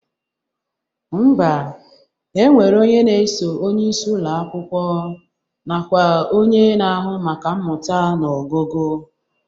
Ḿbà, e nwere onye na-eso onyeisi Ụlọ akwụkwọ nakwa onye na-ahụ maka mmụta na ọgụgụ